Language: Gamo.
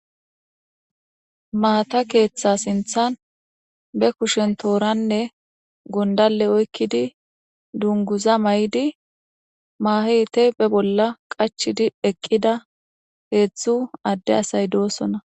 Maata keeththa sinthan be kushen tooranne gondale oykkidi dunguza may7di maahete be bolla qachidi eqqida heedzdzu adde asay doosona.